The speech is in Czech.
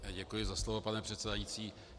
Děkuji za slovo, pane předsedající.